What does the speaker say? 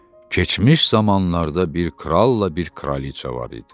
Keçmiş zamanlarda bir kralla bir kraliça var idi.